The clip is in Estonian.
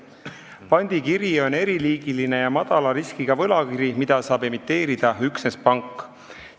Pandikiri on eriliigiline ja madala riskiga võlakiri, mida saab emiteerida üksnes pank.